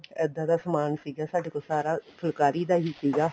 ਇੱਦਾਂ ਦਾ ਸਮਾਨ ਸੀਗਾ ਸਾਡੇ ਕੋਲ ਸਾਰਾ ਫੁਲਕਾਰੀ ਦਾ ਹੀ ਸੀਗਾ